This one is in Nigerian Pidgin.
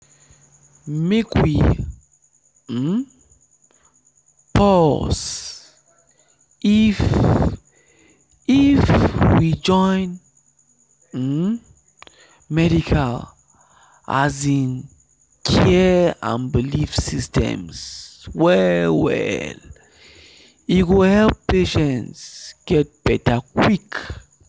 make we um pause — if — if we join um medical um care and belief systems well well e go help patients get better quick.